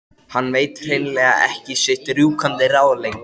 Hann veit hrein- lega ekki sitt rjúkandi ráð lengur.